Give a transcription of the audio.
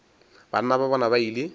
banna ba bona ba ile